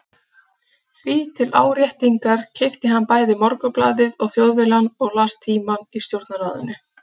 Því til áréttingar keypti hann bæði Morgunblaðið og Þjóðviljann og las Tímann í stjórnarráðinu.